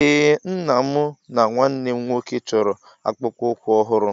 Ee Nna, mụ na nwanne m nwoke chọrọ akpụkpọ ụkwụ ọhụrụ